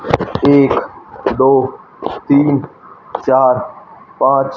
एक दो तीन चार पाच--